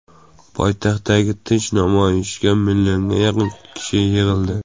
Poytaxtdagi tinch namoyishga millionga yaqin kishi yig‘ildi.